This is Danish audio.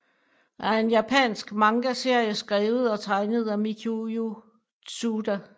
er en japansk mangaserie skrevet og tegnet af Mikiyo Tsuda